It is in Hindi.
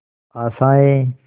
आशाएं